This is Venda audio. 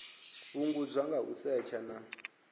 fhungudzwa nga u setsha na